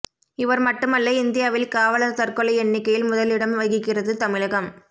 இவர் மட்டுமல்ல இந்தியாவில் காவலர் தற்கொலை எண்ணிக்கையில் முதல் இடம் வகிக்கிறது தமிழகம்